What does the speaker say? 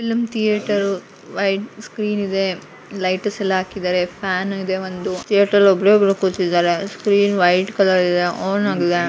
Film theatre white screen ಇದೆ lighters ಎಲ್ಲ ಹಾಕಿದ್ದಾರೆ ಫ್ಯಾನ್ ಇದೆ ಒಂದು ಥಿಯೇಟರ್ ಅಲ್ಲಿ ಒಬ್ಬರೇ ಒಬ್ಬ್ರು ಕೂತಿದಾರೆ ಸ್ಕ್ರೀನ್ ವೈಟ್ ಕಲರ್ ಇದೆ ಆನ್ ಆಗಿದೆ.